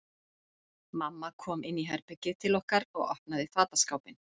Mamma kom inn í herbergið til okkar og opnaði fataskápinn.